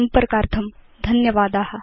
संपर्कार्थं धन्यवादा